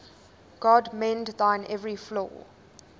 god mend thine every flaw